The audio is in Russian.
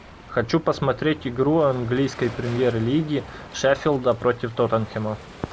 хочу посмотреть игру английской премьер лиги шеффилда против тоттенхэма